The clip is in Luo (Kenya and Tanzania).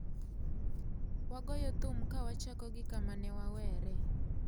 Wagoyo thum ka wachako gi kama ne waweree